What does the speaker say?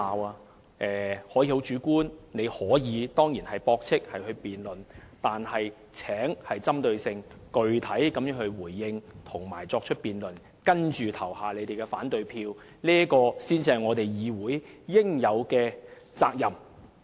他們可以提出主觀的意見，當然可以駁斥我們和進行辯論，但請具體針對地回應和作出辯論，然後投下反對票，這才是議員應有的責任。